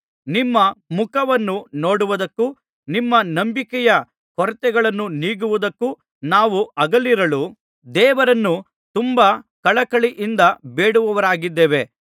ನಿಮ್ಮ ಮುಖವನ್ನು ನೋಡುವುದಕ್ಕೂ ನಿಮ್ಮ ನಂಬಿಕೆಯ ಕೊರತೆಗಳನ್ನು ನೀಗುವುದಕ್ಕೂ ನಾವು ಹಗಲಿರುಳು ದೇವರನ್ನು ತುಂಬಾ ಕಳಕಳಿಯಿಂದ ಬೇಡುವವರಾಗಿದ್ದೇವೆ